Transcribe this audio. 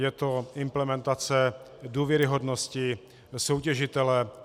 Je to implementace důvěryhodnosti soutěžitele.